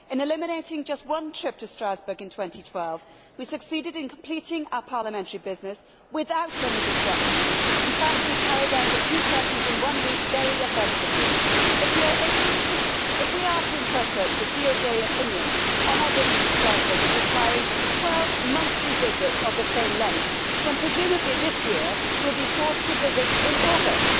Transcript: In eliminating just one trip to Strasbourg in 2012 we succeeded in completing our parliamentary business without any disruption. In fact we carried out the two sessions in one week very effectively. If we are to interpret the Court of Justice opinion on our visits to Strasbourg as requiring 12 monthly visits of the same length, then presumably this year we will be forced to visit in August.